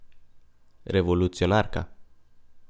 Revolucionarka.